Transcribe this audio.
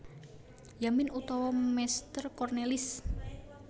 Yamin utawa Meester Cornelis